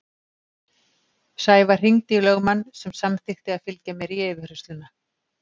Sævar hringdi í lögmann sem samþykkti að fylgja mér í yfirheyrsluna.